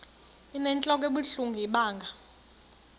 inentlok ebuhlungu ibanga